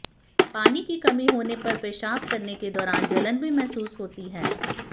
पानी की कमी होने पर पेशाब करने के दौरान जलन भी महसूस होती है